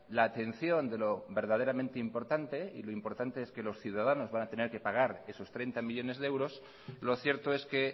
la atención de lo verdaderamente importante y lo importante es que los ciudadanos van a tener que pagar esos treinta millónes de euros lo cierto es que